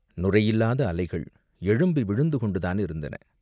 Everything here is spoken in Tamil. நுரையில்லாத அலைகள் எழும்பி விழுந்துகொண்டு தானிருந்தன.